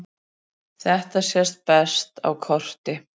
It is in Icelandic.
Þetta sést best á korti.